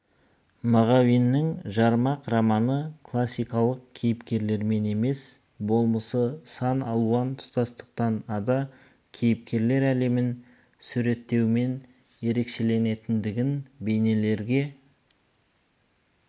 мағауиннің жармақ романы классикалық кейіпкерлермен емес болмысы сан алуан тұтастықтан ада кейіпкерлер әлемін суреттеуімен ерекшеленетіндігін бейнелерге